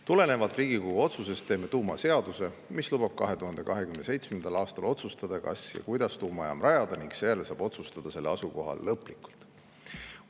Tulenevalt Riigikogu otsusest teeme tuumaseaduse, mis lubab 2027. aastal otsustada, kas ja kuidas tuumajaam rajada, ning seejärel saab selle asukoha lõplikult otsustada.